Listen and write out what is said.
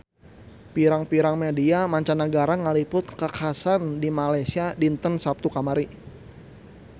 Pirang-pirang media mancanagara ngaliput kakhasan di Malaysia dinten Saptu kamari